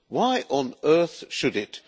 Why on earth should it?